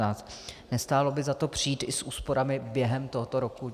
Nestálo by za to přijít i s úsporami během tohoto roku?